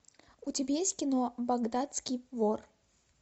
у тебя есть кино багдадский вор